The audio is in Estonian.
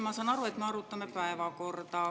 Ma saan aru, et me hetkel arutame päevakorda.